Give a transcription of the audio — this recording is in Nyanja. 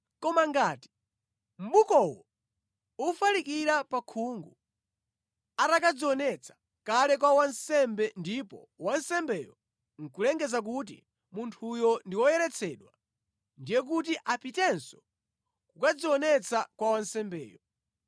Koma ngati mʼbukowo ufalikira pakhungu atakadzionetsa kale kwa wansembe ndipo wansembeyo nʼkulengeza kuti munthuyo ndi woyeretsedwa, ndiye kuti apitenso kukadzionetsa kwa wansembeyo.